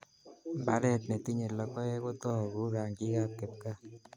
Mbaret ne tinyei logoek ko togu rangikab kipkaa